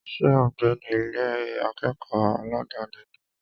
Ṣé ò ń gbé ní Ilé akẹ́kọ̀ọ́ aládàni ni?